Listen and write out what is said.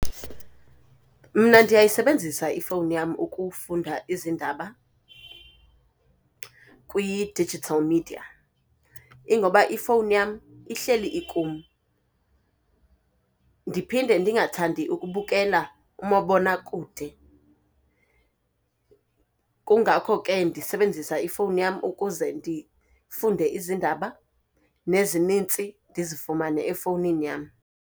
Mna ndiyayisebenzisa ifowuni yam ukufunda izindaba kwi-digital media. Ingoba ifowuni yam ihleli ikum, ndiphinde ndingathandi ukubukela umabonakude. Kungakho ke ndisebenzisa ifowuni yam ukuze ndifunde izindaba, nezininzi ndizifumane efowunini yam.